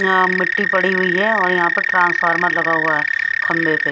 यहाँ मिट्टी पड़ी हुई है और यहां पर ट्रांसफार्मर लगा हुआ है खंभे पे।